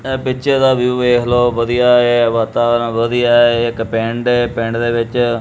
ਏ picture ਦਾ view ਵੇਖ ਲਓ ਵਧੀਆ ਆ ਵਾਤਾਵਰਨ ਵਧੀਆ ਆ ਇੱਕ ਪਿੰਡ ਏ ਪਿੰਡ ਦੇ ਵਿੱਚ--